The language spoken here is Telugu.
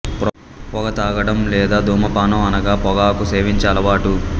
పొగ త్రాగడం లేదా ధూమపానం అనగా పొగాకు సేవించే అలవాటు